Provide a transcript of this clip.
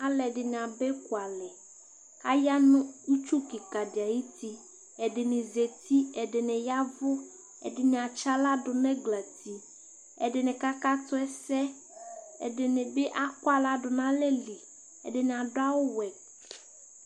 alʊɛdɩnɩ aba ekʊalɛ, aya nʊ itsu kikadɩ ayuti, ɛdɩnɩ zati, ɛdɩnɩ yɛvʊ ɛdɩnɩ eyǝ aɣla dʊ nʊ ɛglati, ɛdɩnɩ kakatʊ nʊ ɛsɛ, ɛdɩnɩ bɩ adʊ aɣla nʊ alɛli, ǝdɩnɩ adʊ awʊ wɛ